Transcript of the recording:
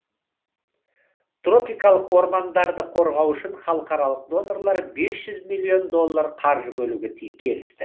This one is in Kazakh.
тропикалық ормандарды қорғау үшін халықаралық донорлар бес жүз миллион доллар қаржы бөлуге келісті